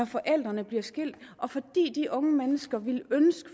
forældrene blev skilt og fordi de unge mennesker ville ønske